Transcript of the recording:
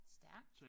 Stærkt